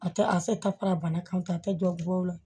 A tɛ a se ka fara bana kan k'a kɛ dɔ la